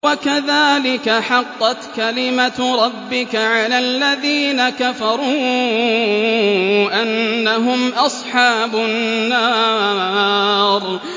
وَكَذَٰلِكَ حَقَّتْ كَلِمَتُ رَبِّكَ عَلَى الَّذِينَ كَفَرُوا أَنَّهُمْ أَصْحَابُ النَّارِ